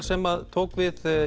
sem tók við